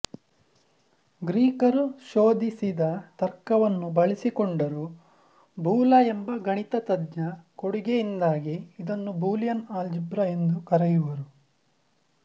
ಗ್ರೀಕರು ಶೋಧಿಸಿದ ತರ್ಕವನ್ನು ಬಳಸಿಕೊಂಡರೂ ಬೂಲ ಎಂಬ ಗಣಿತಜ್ಞನ ಕೊಡುಗೆಯಿಂದಾಗಿ ಇದನ್ನು ಬೂಲಿಯನ್ ಅಲ್ಜಿಬ್ರಾ ಎಂದೂ ಕರೆಯುವರು